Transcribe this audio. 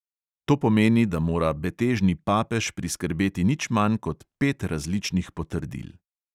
To pomeni, da mora betežni papež priskrbeti nič manj kot pet različnih potrdil.